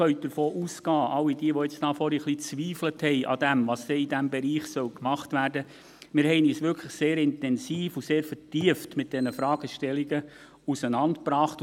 All jene, die vorhin ein wenig daran gezweifelt haben, was denn in diesem Bereich gemacht werden solle, können davon ausgehen, dass wir uns wirklich sehr intensiv und sehr vertieft mit diesen Fragestellungen auseinandergesetzt haben.